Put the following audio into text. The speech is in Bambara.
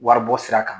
Waribɔ sira kan